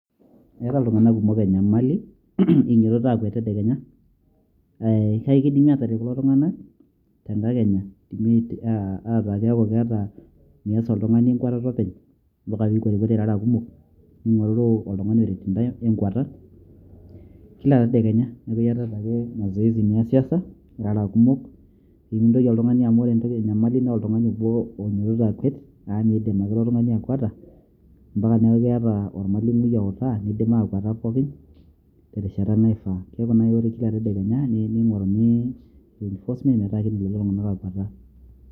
eeta iltung'anak kumok enyamali iototo aakwet tedekenya, kake kidimi aataret kulo tung'anak te nkakenya, aataa keeku keeta, mias oltung'ani enkwatata openy, mpaka pee ikwatikwata irara kumok, ning'oruru olttung'ani oret intae enkwata kila tedekenya neeku iayatat ake mazoezi niasiasa, irara kumok pee mintoki oltung'ani amu ore enyamali naa oltung'ani obo oinyiototo akwet amu meidim ake ilo tung'ani akweta ampaka neeku keeta olmalimui outaa. nidim aakweta pookin terishata naifaa, neeku kila tedekenya ning'oruni reinforcement metaa kidim kulo tung'anak aakweta.